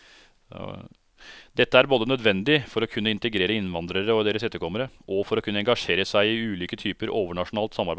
Dette er både nødvendig for å kunne integrere innvandrere og deres etterkommere, og for å kunne engasjere seg i ulike typer overnasjonalt samarbeid.